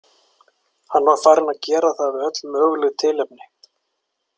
Hann var farinn að gera það við öll möguleg tilefni.